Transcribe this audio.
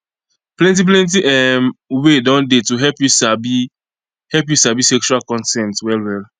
plenty plenty um way don dey to help you sabi help you sabi sexual consent well well